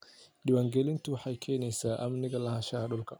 Diiwaangelintu waxay keenaysaa amniga lahaanshaha dhulka.